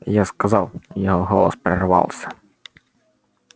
я сказал его голос прервался